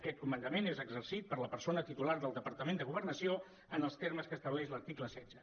aquest comandament és exercit per la persona titular del departament de governació en els termes que estableix l’article setze